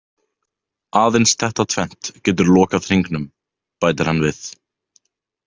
Aðeins þetta tvennt getur lokað hringnum, bætir hann við.